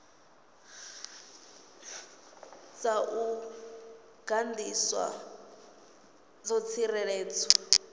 dza u gandiswa dzo tsireledzwa